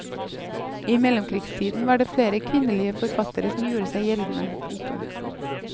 I mellomkrigstiden var det flere kvinnelige forfattere som gjorde seg gjeldende. punktum